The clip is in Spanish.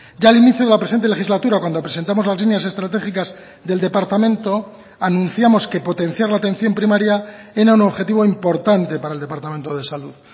ya al inicio de la presente legislatura cuando presentamos las líneas estratégicas del departamento anunciamos que potenciar la atención primaria era un objetivo importante para el departamento de salud